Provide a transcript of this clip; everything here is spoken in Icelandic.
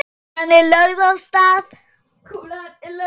Kúlan er lögð af stað.